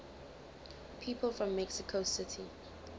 people from mexico city